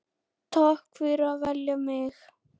Takk fyrir að velja mig.